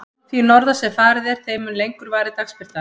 Því norðar sem farið er, þeim mun lengur varir dagsbirtan.